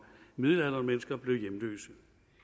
midaldrende mennesker blev hjemløse